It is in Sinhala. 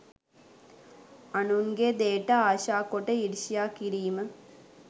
අනුන්ගේ දෙයට ආශා කොට ඊර්ෂ්‍යා කිරීම